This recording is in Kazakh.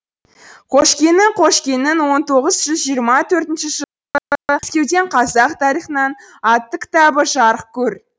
қошкенің қошкенің он тоғыз жүз жиырма төртінші жылы мәскеуден қазақ тарихынан атты кітабы жарық көр